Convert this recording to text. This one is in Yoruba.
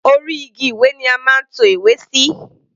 Orí igi ìwé ni a máa ń to ìwé sí.